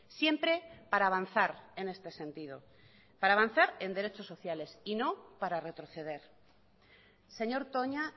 siempre para avanzar en este sentido para avanzar en derechos sociales y no para retroceder señor toña